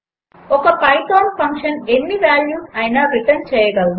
ఒక Python function ఎన్ని values అయినా రిటర్న్ చేయగలదు